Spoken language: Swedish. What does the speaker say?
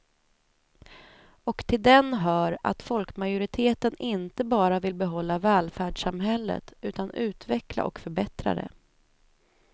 Och till den hör att folkmajoriteten inte bara vill behålla välfärdssamhället utan utveckla och förbättra det.